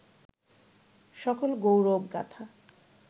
সকল গৌরব-গাঁথা